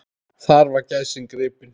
Þar var gæsin gripin.